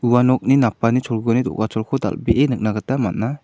ua nokni napani do·gacholko dal·bee nikna gita man·a.